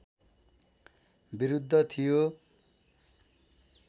विरुद्ध थियो